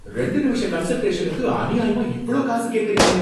ரெண்டு நிமிஷ கன்ஸல்டேஷனுக்கு அநியாயமா இவ்ளோ காசு கேக்கறீங்களே!